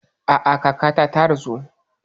A'a kakata ta rasu